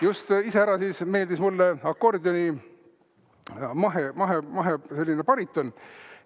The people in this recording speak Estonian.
Just iseäranis meeldis mulle akordioni mahe bariton.